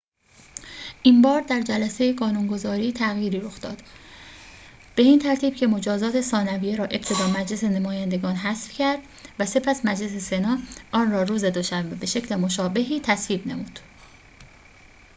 این‌بار در جلسه قانون‌گذاری تغییری رخ داد به این ترتیب که مجازات ثانویه را ابتدا مجلس نمایندگان حذف کرد و سپس مجلس سنا آن را روز دوشنبه به شکل مشابهی تصویب نمود